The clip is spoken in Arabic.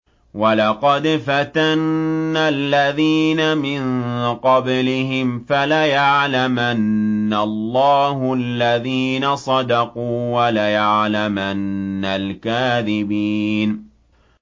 وَلَقَدْ فَتَنَّا الَّذِينَ مِن قَبْلِهِمْ ۖ فَلَيَعْلَمَنَّ اللَّهُ الَّذِينَ صَدَقُوا وَلَيَعْلَمَنَّ الْكَاذِبِينَ